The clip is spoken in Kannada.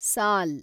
ಸಾಲ್